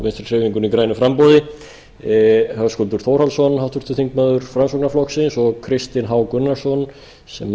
vinstri hreyfingunni grænu framboði háttvirtur þingmaður framsóknarflokksins höskuldur þórhallsson og kristinn h gunnarsson sem